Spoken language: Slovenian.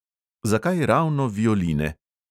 Zakaj ravno violine?